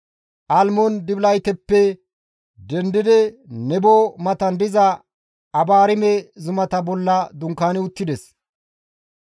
Almmoon-Dibilatayeppe dendi Nebo matan diza Abaarime zumata bolla dunkaani uttides.